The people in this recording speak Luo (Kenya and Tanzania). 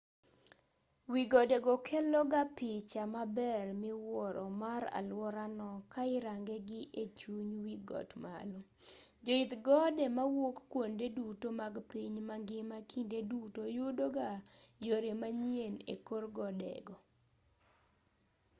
wi gode go kelo ga picha maber miwuoro mar aluora no ka irange gi e chuny wi got malo joidh gode mawuok kuonde duto mag piny mangima kinde duto yudo ga yore manyien e kor gode go